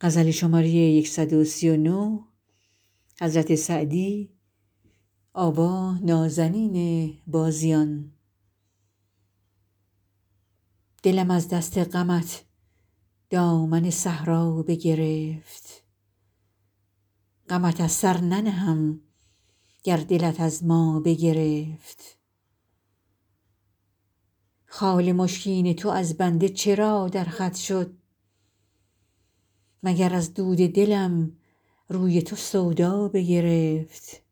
دلم از دست غمت دامن صحرا بگرفت غمت از سر ننهم گر دلت از ما بگرفت خال مشکین تو از بنده چرا در خط شد مگر از دود دلم روی تو سودا بگرفت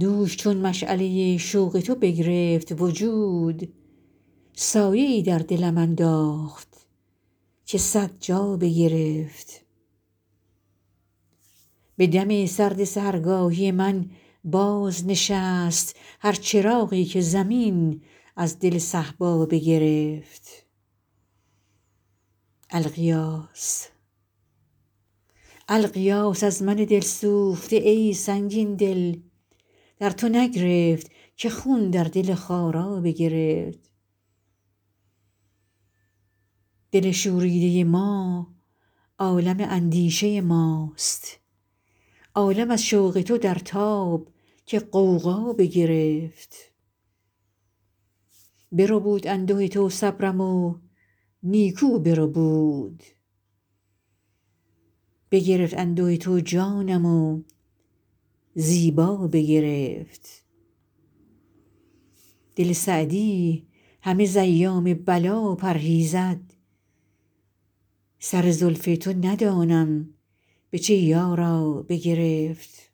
دوش چون مشعله شوق تو بگرفت وجود سایه ای در دلم انداخت که صد جا بگرفت به دم سرد سحرگاهی من بازنشست هر چراغی که زمین از دل صهبا بگرفت الغیاث از من دل سوخته ای سنگین دل در تو نگرفت که خون در دل خارا بگرفت دل شوریده ما عالم اندیشه ماست عالم از شوق تو در تاب که غوغا بگرفت بربود انده تو صبرم و نیکو بربود بگرفت انده تو جانم و زیبا بگرفت دل سعدی همه ز ایام بلا پرهیزد سر زلف تو ندانم به چه یارا بگرفت